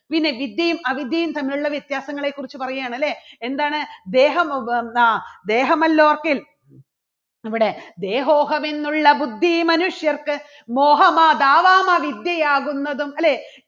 പിന്നെ വിദ്യയും അവിദ്യയും തമ്മിലുള്ള വ്യത്യാസങ്ങളെ കുറിച്ച് പറയുകയാണ് അല്ലേ എന്താണ് ദേഹം ദേഹം അല്ലോർക്കിൽ ഇവിടെ ദേഹോഹം എന്നുള്ള ബുദ്ധി മനുഷ്യർക്ക് മോഹമാതാവാം ആ വിദ്യയാകുന്നതും അല്ലേ